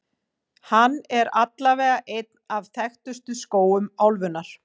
Hann er allavega einn af þekktustu skógum álfunnar.